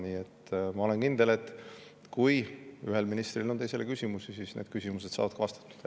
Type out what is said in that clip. Nii et ma olen kindel, et kui ühel ministril on teisele küsimusi, siis need küsimused saavad ka vastatud.